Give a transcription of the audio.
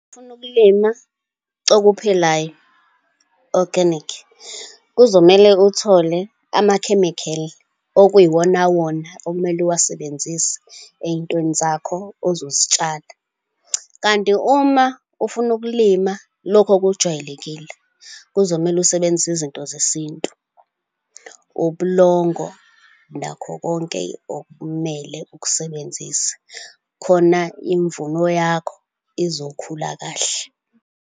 Uma ufuna ukulima okuphilayo, organic, kuzomele uthole ama-chemical okuyiwonawona okumele uwasebenzise ey'ntweni zakho ozozitshala. Kanti uma ufuna ukulima lokhu okujwayelekile, kuzomele usebenzise izinto zesintu, ubulongo, nakho konke okumele ukusebenzise, khona imvuno yakho izokhula kahle.